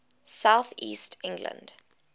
south east england